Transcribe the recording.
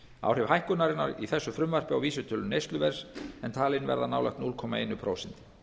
áhrif hækkunarinnar í þessu frumvarpi á vísitölu neysluverðs er talin verða nálægt núll komma eitt prósent